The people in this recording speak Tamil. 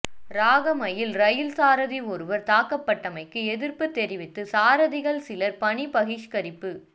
ராகமையில் ரயில் சாரதி ஒருவர் தாக்கப்பட்டமைக்கு எதிர்ப்பு தெரிவித்து சாரதிகள் சிலர் பணி பகிஷ்கரிப்பு